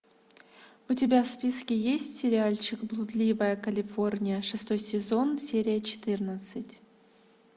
у тебя в списке есть сериальчик блудливая калифорния шестой сезон серия четырнадцать